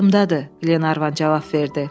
Yadımdadır, Glenarvan cavab verdi.